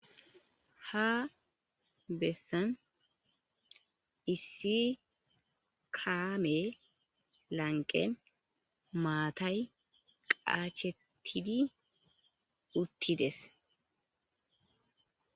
Ha bessan issi kame lanqen maatay qaachetidi uttides.